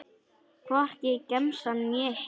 Hvorki í gemsann né heima.